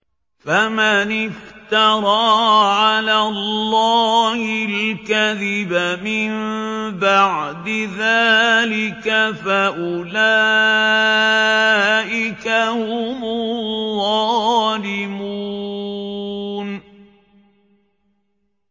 فَمَنِ افْتَرَىٰ عَلَى اللَّهِ الْكَذِبَ مِن بَعْدِ ذَٰلِكَ فَأُولَٰئِكَ هُمُ الظَّالِمُونَ